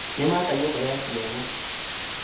Nĩmaka nyũmba ya ciana